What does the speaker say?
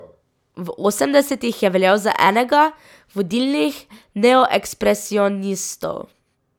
V osemdesetih je veljal za enega vodilnih neoekspresionistov.